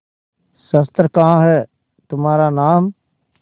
शस्त्र कहाँ है तुम्हारा नाम